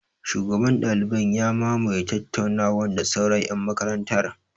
Shugaban ɗaliban ya mamaye tattaunawar da sauran ƴan makarantar.